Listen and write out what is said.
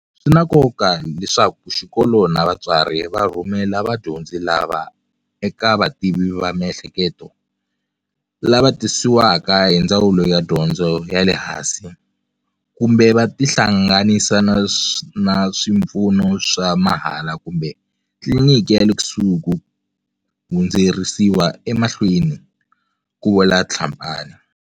Swi na nkoka leswaku xikolo na vatswari va rhumela vadyondzi lava eka vativi va miehleketo, lava tisiwaka hi Ndzawulo ya Dyondzo ya le Hansi, kumbe va tihlanga nisa na swipfuno swa mahala kumbe tliliniki ya le kusuhi ku hundziseriwa emahlweni, ku vula Tlhapane.